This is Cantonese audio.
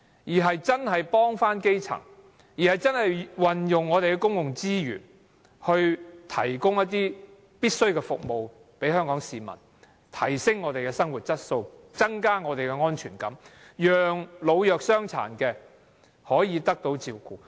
政府應該幫助基層，運用公共資源向香港市民提供必需的服務，提升我們的生活質素，增加我們的安全感，讓老弱傷殘得到照顧。